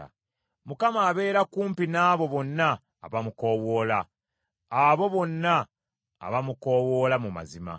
Mukama abeera kumpi n’abo bonna abamukoowoola; abo bonna abamukoowoola mu mazima.